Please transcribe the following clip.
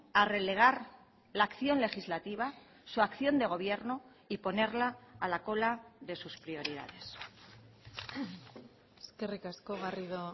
a relegar la acción legislativa su acción de gobierno y ponerla a la cola de sus prioridades eskerrik asko garrido